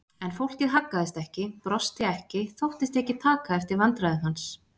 En fólkið haggaðist ekki, brosti ekki, þóttist ekki taka eftir vandræðum hans.